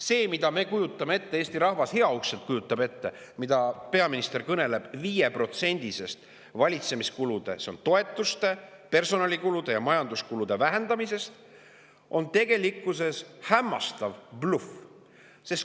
See, mida me kujutame ette, mida Eesti rahvas heauskselt kujutab ette, kui peaminister kõneleb 5%-lisest valitsemiskulude vähendamisest – see on toetuste, personalikulude ja majanduskulude vähendamine –, on tegelikkuses hämmastav bluff.